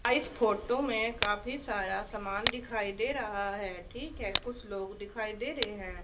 इस फोटो में काफी सारा सामान दिखाई दे रहा है ठीक है कुछ लोग दिखाई दे रहे हैं।